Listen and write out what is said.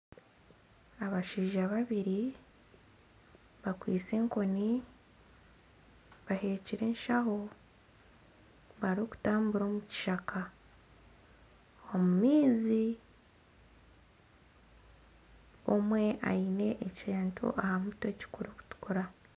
Abashaija babiri bakwitse enkoni bahekire enshaho barikutambura omu kishaka omu maizi omwe aine ekintu aha mutwe ekirikutuukura.